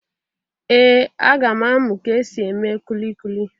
Ee, aga m amụ ka e si eme kulikuli.